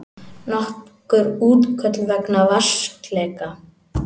Nokkur útköll vegna vatnsleka